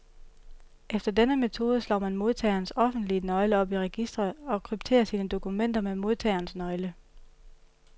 Efter denne metode slår man modtagerens offentlige nøgle op i registret, og krypterer sine dokumenter med modtagerens nøgle.